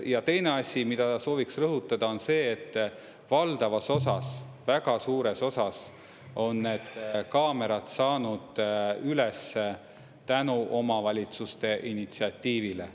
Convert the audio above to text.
Ja teine asi, mida sooviksin rõhutada, on see, et valdavas osas, väga suures osas on need kaamerad saanud üles tänu omavalitsuste initsiatiivile.